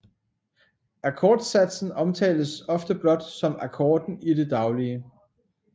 Akkordsatsen omtales ofte blot som akkorden i det daglige